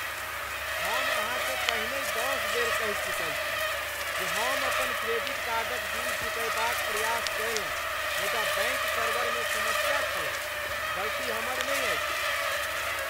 हम अहाँकेँ पहिनहि दस बेर कहि चुकल छी जे हम अपन क्रेडिट कार्डक बिल चुकयबाक प्रयास कयलहुँ मुदा बैंक सर्वरमे समस्या छलैक। गलती हमर नहि अछि!